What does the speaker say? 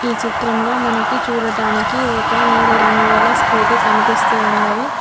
ఈ చిత్రంలో మనకి చూడటానికి ఒక నీలిరంగు గల స్కూటీ కనిపిస్తూ ఉన్నది.